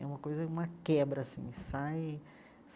É uma coisa, uma quebra assim sai.